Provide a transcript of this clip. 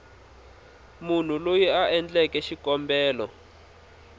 munhu loyi a endleke xikombelo